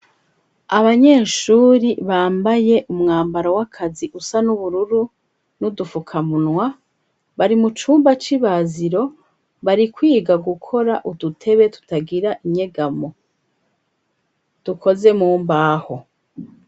abanyeshuri bambaye umwambaro w'akazi usa n'ubururu n'udufukamunwa bari mucumba c'ibaziro bari kwiga gukora udutebe tutagira inyegamo dukoze mumbaho